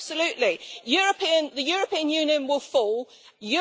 Wir haben die britisch britische Diskussion jetzt gerade erlebt.